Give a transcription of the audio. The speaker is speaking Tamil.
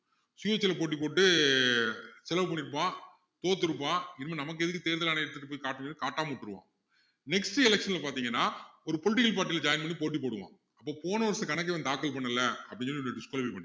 சுயேட்சையில போட்டி போட்டு செலவ பண்ணிருப்பான் தோத்துருப்பான் இனிமேல் நமக்கு எதுக்கு தேர்தல் ஆணையத்துக்கு போய் காட்டணும் காட்டாம விட்டுருவான் next election ல பாத்தீங்கன்னா ஒரு poltical party ல join பண்ணி போட்டி போடுவான் அப்போ போன வருஷ கணக்கு இவன் தாக்கல் பண்ணல அப்படின்னு சொல்லி disqualify பண்ணலாம்